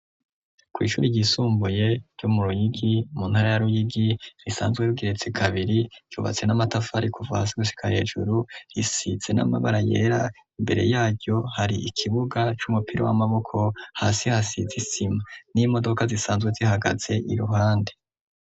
Kw'ishuri ryisumbuye ryo mu ruyigi mu ntara ya ruyigi risanzwe rigeretse kabiri ryubatse n'amatafari kuva hasi gushika hejuru risize n'amabara yera imbere yayo hari ikibuga c'umupira w'amaboko, hasi hasize isima n'imodoka zisanzwe zihagaze iruhande.